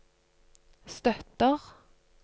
støtter